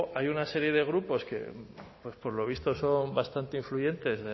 hay una serie de grupos que por lo visto son bastante influyentes